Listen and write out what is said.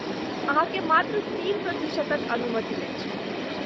अहाँकेँ मात्र तीन प्रतिशतक अनुमति अछि।